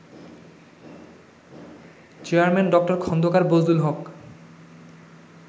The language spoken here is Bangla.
চেয়ারম্যান ডঃ খন্দকার বজলুল হক